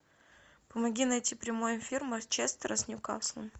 помоги найти прямой эфир манчестера с ньюкаслом